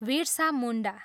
Virsa Munda.